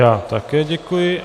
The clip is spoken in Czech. Já také děkuji.